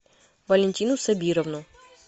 валентину сабировну